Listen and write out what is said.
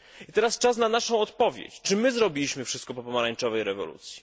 Teraz czas na naszą odpowiedź czy my zrobiliśmy wszystko po pomarańczowej rewolucji?